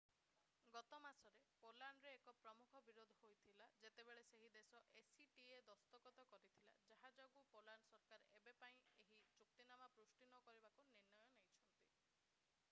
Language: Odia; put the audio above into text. ଗତ ମାସରେ ପୋଲାଣ୍ଡରେ ଏକ ପ୍ରମୁଖ ବିରୋଧ ହୋଇଥିଲା ଯେତେବେଳେ ସେହି ଦେଶ acta ଦସ୍ତଖତ କରିଥିଲା ଯାହା ଯୋଗୁଁ ପୋଲାଣ୍ଡ ସରକାର ଏବେ ପାଇଁ ଏହି ଚୁକ୍ତିନାମା ପୁଷ୍ଟି ନକରିବାକୁ ନିର୍ଣ୍ଣୟ ନେଇଛନ୍ତି